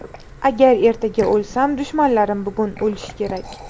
Agar ertaga o‘lsam, dushmanlarim bugun o‘lishi kerak.